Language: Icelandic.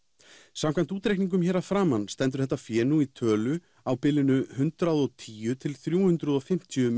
samkvæmt útreikningunum hér að framan stendur þetta fé nú í tölu á bilinu hundrað og tíu til þrjú hundruð og fimmtíu